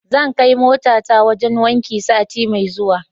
Zan kai motata wajen wanki sati mai zuwa.